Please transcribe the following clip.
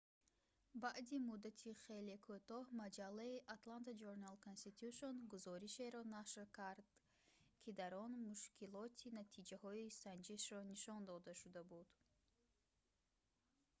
баъди муддати хеле кӯтоҳ маҷаллаи «atlanta journal-constitution» гузоришеро нашр кард ки дар он мушкилоти натиҷаҳои санҷишро нишон дода шуда буд